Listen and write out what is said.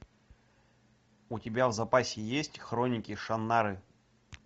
у тебя в запасе есть хроники шаннары